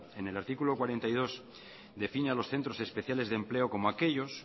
en el artículo cuarenta y dos define a los centros especiales de empleo como aquellos